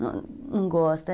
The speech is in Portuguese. Não gosta.